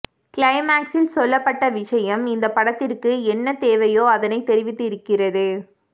கிளைமாக்ஸில் சொல்ல பட்ட விஷயம் இந்த படத்திற்கு என்ன தேவையோ அதனை தெரிவித்து இருக்கிறது